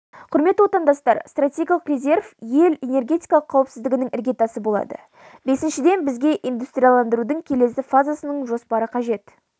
құрметті отандастар стратегиялық резерв ел энергетикалық қауіпсіздігінің іргетасы болады бесіншіден бізге индустрияландырудың келесі фазасының жоспары қажет